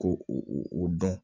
Ko u dɔn